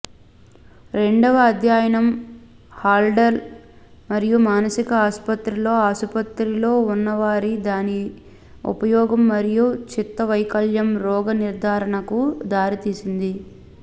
రెండవ అధ్యయనం హల్డోల్ మరియు మానసిక ఆసుపత్రిలో ఆసుపత్రిలో ఉన్నవారిలో దాని ఉపయోగం మరియు చిత్తవైకల్యం రోగనిర్ధారణకు దారితీసింది